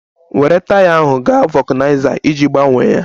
Were taya ahụ gaa vulkaniza iji gbanye ya!